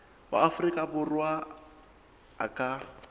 wa afrika borwa a ka